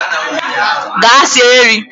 Gaa sie nri!